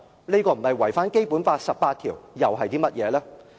這樣不是違反《基本法》第十八條，又是甚麼？